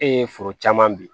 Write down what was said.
E ye foro caman bin